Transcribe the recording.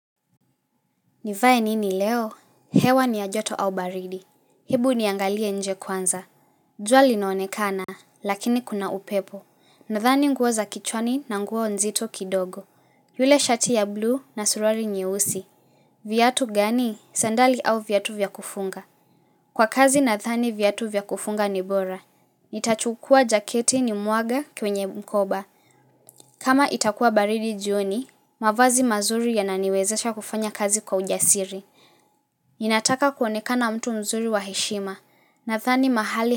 Nivae nini leo? Hewa ni ya joto au baridi. Hebu niangalie nje kwanza. Jua linaonekana, lakini kuna upepo. Nadhani nguo za kichwani na nguo nzito kidogo. Yule shati ya blue na suruali nyeusi. Viatu gani? Sandali au viatu vya kufunga. Kwa kazi nathani viatu vya kufunga ni bora. Nitachukua jaketi ni muage kwenye mkoba. Kama itakua baridi jioni, mavazi mazuri yananiwezesha kufanya kazi kwa ujasiri. Ninataka kuoneka na mtu mzuri wa heshima Nathani mahali.